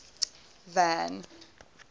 van